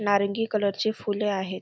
नारंगी कलर ची फुले आहेत.